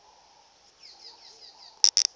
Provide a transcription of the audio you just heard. sa gago sa irp it